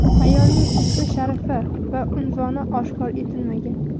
Ayolning ismi-sharifi va unvoni oshkor etilmagan.